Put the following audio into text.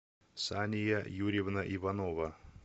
сания юрьевна иванова